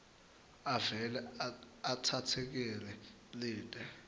avele atsatsekele lite